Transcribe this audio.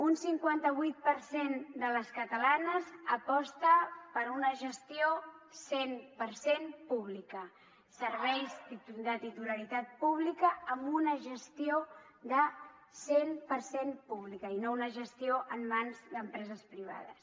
un cinquanta vuit per cent de les catalanes aposta per una gestió cent per cent pública serveis de titularitat pública amb una gestió de cent per cent pública i no una gestió en mans d’empreses privades